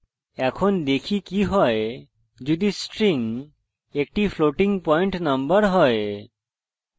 এখন দেখি কি হয় যদি string একটি floating পয়েন্ট number হয়